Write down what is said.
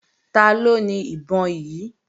Taló ni ìbọn yí?